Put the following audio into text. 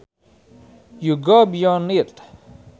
you go beyond it